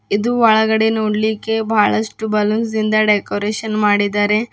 ಇದು ಒಳಗಡೆ ನೋಡ್ಲಿಕ್ಕೆ ಬಹಳಷ್ಟು ಬಲೂನ್ಸ್ನಿಂದ ಡೆಕೋರೇಷನ್ ಮಾಡಿದ್ದಾರೆ.